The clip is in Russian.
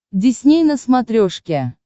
дисней на смотрешке